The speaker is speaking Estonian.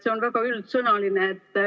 See on väga üldsõnaline.